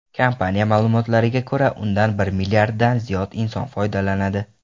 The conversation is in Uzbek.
Kompaniya ma’lumotlariga ko‘ra, undan bir milliarddan ziyod inson foydalanadi.